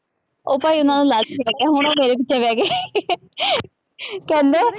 ਉਹ ਭਾਈ ਉਹਨਾ ਨੂੰ ਲਾਲਚ ਪੈ ਗਿਆ, ਹੁਣ ਉਹ ਮੇਰੇ ਪਿੱਛੇ ਪੈ ਗਏ ਕਹਿੰਦੇ